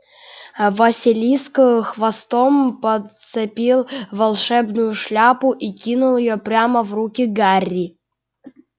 аа василиск ээ хвостом подцепил волшебную шляпу и кинул её прямо в руки гарри